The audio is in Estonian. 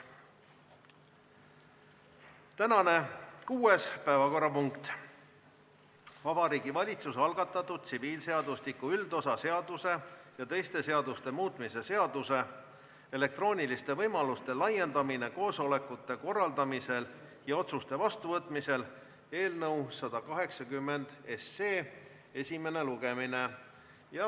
Tänane kuues päevakorrapunkt on Vabariigi Valitsuse algatatud tsiviilseadustiku üldosa seaduse ja teiste seaduste muutmise seaduse eelnõu 180 esimene lugemine.